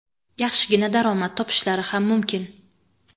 yaxshigina daromad topishlari ham mumkin.